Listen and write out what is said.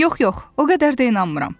Yox, yox, o qədər də inanmıram.